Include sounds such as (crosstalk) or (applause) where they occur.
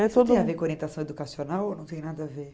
(unintelligible) orientação educacional ou não tem nada a ver?